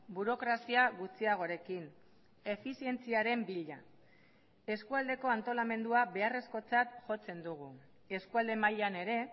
burokrazia gutxiagorekin efizientziaren bila eskualdeko antolamendua beharrezkotzat jotzen dugu eskualde mailan ere